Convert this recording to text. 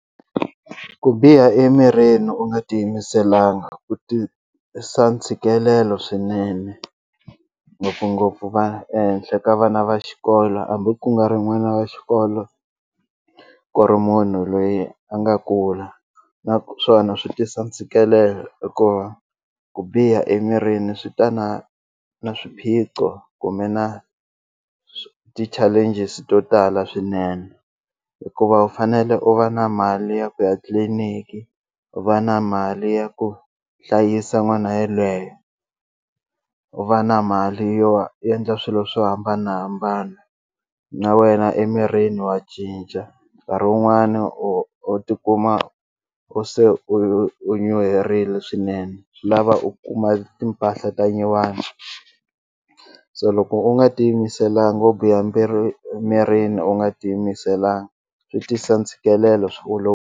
Ku biha emirini u nga tiyimiselanga ku tisa ntshikelelo swinene ngopfungopfu va ehenhla ka vana va xikolo hambi ku nga ri n'wana wa xikolo ku ri munhu loyi a nga kula naswona swi tisa ntshikelelo hikuva ku biha emirini swi ta na na swiphiqo kumbe na ti-challenges to tala swinene hikuva u fanele u va na mali ya ku etliliniki u va na mali ya ku hlayisa n'wana yelweyo u va na mali yo endla swilo swo hambanahambana na wena emirini wa cinca nkarhi wun'wani u u tikuma u se u u nyuherile swinene swi lava u kuma timpahla ta nyuwani so loko u nga tiyimiselanga u biha mirini u nga tiyimiselanga swi tisa ntshikelelo a swi .